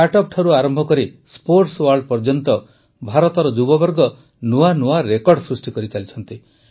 startup ଠାରୁ ଆରମ୍ଭ କରି ସ୍ପୋର୍ଟସୱାର୍ଲ୍ଡ ଯାଏଁ ଭାରତର ଯୁବବର୍ଗ ନୂଆ ନୂଆ ରେକର୍ଡ଼ ସୃଷ୍ଟି କରିଚାଲିଛନ୍ତି